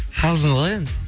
қалжын ғой енді